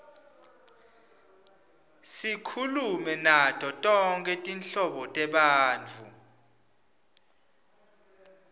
sikhulume nato tonkhe tinhlobo tebantfu